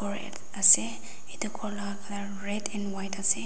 Red ase etu ghor laga colour red and white ase